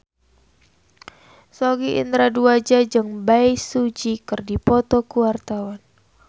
Sogi Indra Duaja jeung Bae Su Ji keur dipoto ku wartawan